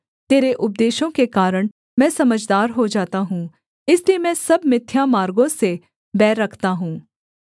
तेरे उपदेशों के कारण मैं समझदार हो जाता हूँ इसलिए मैं सब मिथ्या मार्गों से बैर रखता हूँ